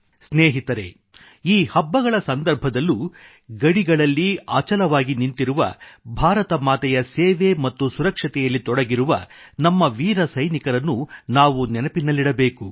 ಸ್ನೇಹಿತರೇ ಈ ಹಬ್ಬಗಳ ಸಂದರ್ಭದಲ್ಲೂ ಗಡಿಗಳಲ್ಲಿ ಅಚಲವಾಗಿ ನಿಂತಿರುವ ಭಾರತ ಮಾತೆಯ ಸೇವೆ ಮತ್ತು ಸುರಕ್ಷತೆಯಲ್ಲಿ ತೊಡಗಿರುವ ನಮ್ಮ ವೀರ ಸೈನಿಕರನ್ನು ನಾವು ನೆನಪಿನಲ್ಲಿಡಬೇಕು